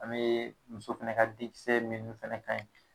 An bɛ muso fɛnɛ ka denkisɛ minnu fɛnɛ kan ɲi.